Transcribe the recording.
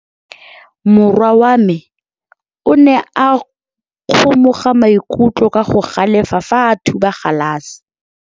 Morwa wa me o ne a kgomoga maikutlo ka go galefa fa a thuba galase.